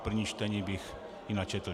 V prvním čtení bych ji načetl.